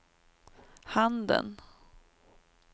handen